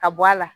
Ka bɔ a la